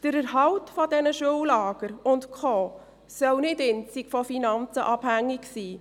Der Erhalt dieser Schullager und Co. soll nicht einzig von den Finanzen abhängig sein.